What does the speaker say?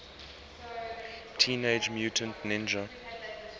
teenage mutant ninja